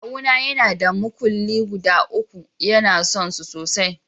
Kawu na yana da muskule guda uku, ya na son su sosai.